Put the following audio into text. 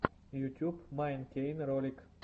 ютюб майн кей ролик